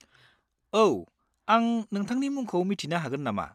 औ, आं नोंथांनि मुंखौ मिथिनो हागोन नामा?